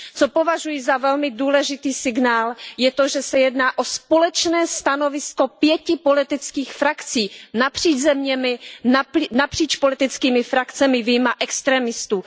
Co považuji za velmi důležitý signál je to, že se jedná o společné stanovisko pěti politických frakcí napříč zeměmi, napříč politickými frakcemi vyjma extrémistů.